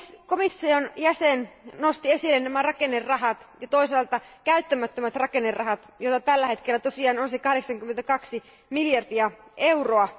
Komission jäsen nosti esille nämä rakennerahastovarat ja toisaalta käyttämättömät rakennerahastovarat, joita tällä hetkellä tosiaan on 82 miljardia euroa.